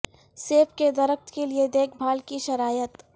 سیب کے درخت کے لئے دیکھ بھال کی شرائط